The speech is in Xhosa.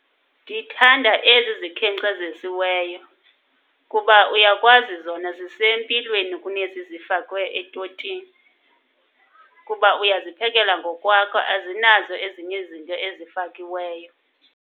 Ndithanda ezi zikhenkcezisiweyo kuba uyakwazi zona zisempilweni kunezi zifakwe etotini. Kuba uyaziphekela ngokwakho, azinazo ezinye izinto ezifakiweyo.